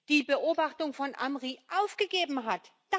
die Beobachtung von Amri aufgegeben hat.